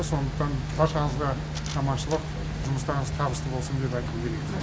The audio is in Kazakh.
сондықтан баршаңызға аманшылық жұмыстарыңыз табысты болсын деп айтқым келеді